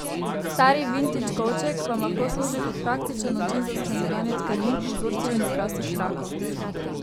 Stari vintidž kovček vam lahko služi kot praktičen način za shranjevanje tkanin, vzorcev in okrasnih trakov.